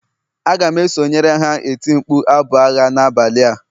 A ga m esonyere ha eti mkpu abụ agha n'abalị a